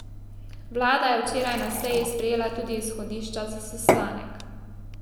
Vlada je včeraj na seji sprejela tudi izhodišča za sestanek.